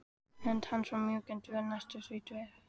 Hönd hans var mjúk en þvöl, næstum því sleip.